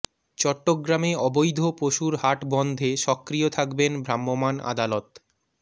চট্টগ্রামে অবৈধ পশুর হাট বন্ধে সক্রিয় থাকবেন ভ্রাম্যমাণ আদালত